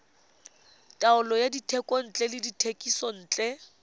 taolo ya dithekontle le dithekisontle